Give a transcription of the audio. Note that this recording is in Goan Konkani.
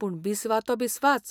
पूण बिस्वा तो बिस्वाच